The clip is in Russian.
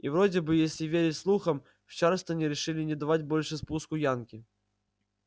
и вроде бы если верить слухам в чарльстоне решили не давать больше спуску янки